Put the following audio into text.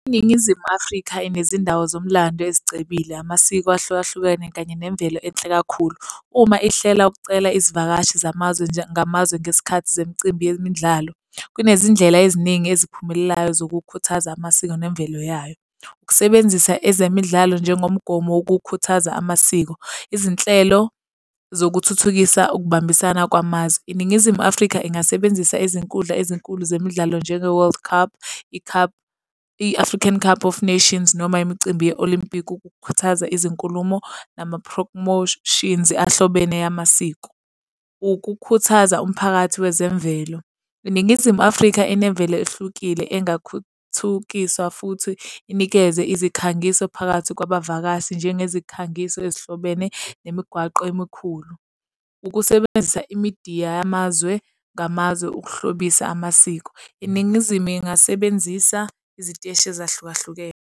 INingizimu Afrika inezindawo zomlando ezicebile amasiko ahlukahlukene kanye nemvelo enhle kakhulu. Uma ihlela ukucela izivakashi zamazwe ngamazwe ngesikhathi zemicimbi yemidlalo. Kunezindlela eziningi eziphumelelayo zokukhuthaza amasiko nemvelo yayo. Ukusebenzisa ezemidlalo njengomgomo wokukhuthaza amasiko, izinhlelo zokuthuthukisa ukubambisana kwamazwe. INingizimu Afrika ingasebenzisa izinkundla ezinkulu zemidlalo njenge-World Cup, i-cup, i-African Cup of Nations, noma imicimbi ye-olympic, ukukhuthaza izinkulumo nama-promotions ahlobene amasiko. Ukukhuthaza umphakathi wezemvelo. INingizimu Afrika enemvelo ehlukile, engakhuthukiswa futhi inikeze izikhangiso phakathi kwabavakashi njengezikhangiso ezihlobene nemigwaqo emikhulu. Ukusebenzisa imidiya yamazwe ngamazwe ukuhlobisa amasiko. INingizimu ingasebenzisa iziteshi ezahlukahlukene.